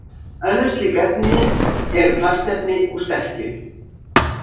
Önnur slík efni eru plastefni úr sterkju.